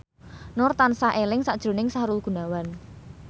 Nur tansah eling sakjroning Sahrul Gunawan